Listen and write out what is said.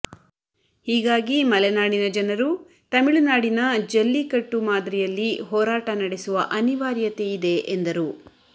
ಹೀಗಾಗಿ ಮಲೆನಾಡಿನ ಜನರು ತಮಿಳುನಾಡಿನ ಜಲ್ಲಿಕಟ್ಟು ಮಾದರಿಯಲ್ಲಿ ಹೋರಾಟ ನಡೆಸುವ ಅನಿವಾರ್ಯತೆಯಿದೆ ಎಂದರು